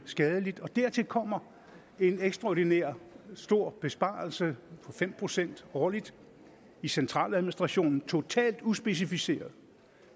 skadeligt dertil kommer en ekstraordinær stor besparelse på fem procent årligt i centraladministrationen totalt uspecificeret